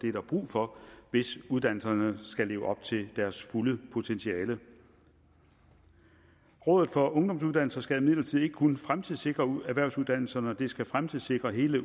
det er der brug for hvis uddannelserne skal leve op til deres fulde potentiale rådet for ungdomsuddannelser skal imidlertid ikke kun fremtidssikre erhvervsuddannelserne det skal fremtidssikre hele